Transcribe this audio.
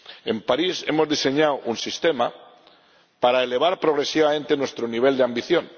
En París hemos diseñado un sistema para elevar progresivamente nuestro nivel de ambición